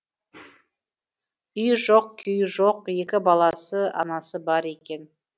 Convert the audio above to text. үйі жоқ күйі жоқ екі баласы анасы бар екен